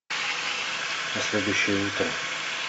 на следующее утро